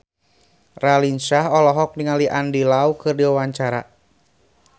Raline Shah olohok ningali Andy Lau keur diwawancara